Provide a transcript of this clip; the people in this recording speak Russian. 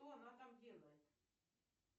что она там делает